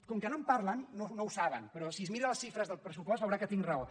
com que no en par·len no ho saben però si es mira les xifres del pressu·post veurà que tinc raó